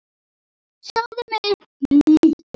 Sjáðu mig, líttu á mig.